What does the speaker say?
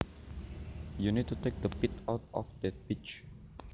You need to take the pit out of that peach